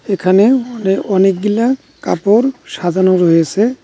এখানে অনে অনেকগিলা কাপড় সাজানো রয়েসে।